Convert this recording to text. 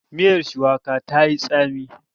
Miyar shuwakar ta yi tsami.